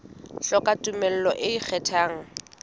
hloka tumello e ikgethang e